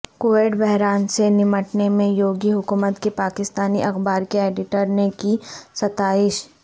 Covid بحران سے نمٹنے میں یوگی حکومت کی پاکستانی اخبار کے ایڈیٹر نے کی ستائش